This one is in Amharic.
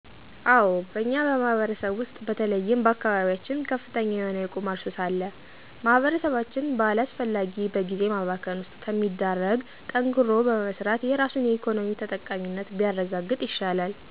አዎ በእኛ ማህበረሰብ ውሰጥ በተለይም በአካባቢየችን ከፍተኛ የሆነ የቁማር ሱስ አለ። ማህበረሰባችን በአላሰፈላጊ በግዜ ማባከን ውሰጥ ከሚዳረግ ጠንክሮ በመሰራት የራሱን የኢኮኖሚ ተጠቃሚነት ቢያረጋግጥ ይሻላል።